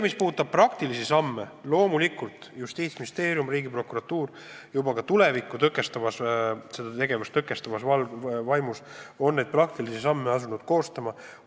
Mis puudutab praktilisi samme, siis loomulikult on Justiitsministeerium ja Riigiprokuratuur juba asunud koostama nende sammude kava, et tulevikus niisugust tegevust tõkestada.